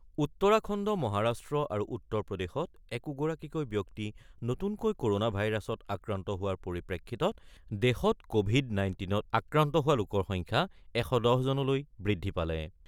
উত্তৰাখণ্ড, মহাৰাষ্ট্ৰ আৰু উত্তৰ প্ৰদেশত একোগৰাকীকৈ ব্যক্তি নতুনকৈ ক'ৰনা ভাইৰাছত আক্ৰান্ত হোৱাৰ পৰিপ্ৰেক্ষিতত দেশত ক'ভিড-নাইনটিনত আক্ৰান্ত হোৱা লোকৰ সংখ্যা ১১০ জনলৈ বৃদ্ধি পালে।